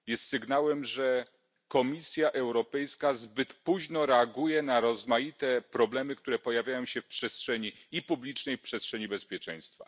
Jest sygnałem, że Komisja Europejska zbyt późno reaguje na rozmaite problemy, które pojawiają się w przestrzeni publicznej i w przestrzeni bezpieczeństwa.